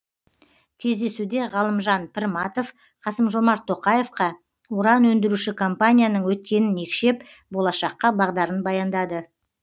кездесуде ғалымжан пірматов қасым жомарт тоқаевқа уран өндіруші компанияның өткенін екшеп болашаққа бағдарын баяндады